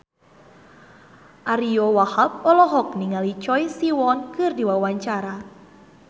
Ariyo Wahab olohok ningali Choi Siwon keur diwawancara